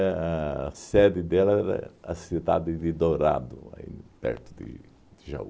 a sede dela era a cidade de Dourado, aí perto de de Jaú.